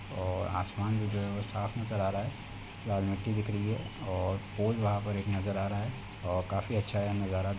और आसमान भी जो हैं वो साफ नजर आ रहा हैं। लाल मिट्टी दिख रही हैं और पुल वहा पर एक नजर आ रहा हैं और काफी अच्छा ये नजारा --